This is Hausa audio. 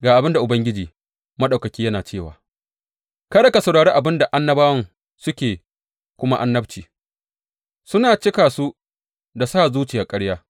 Ga abin da Ubangiji Maɗaukaki yana cewa, Kada ku saurari abin da annabawan suke muku annabci; suna cika ku da sa zuciyar ƙarya.